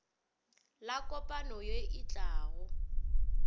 la kopano ye e tlago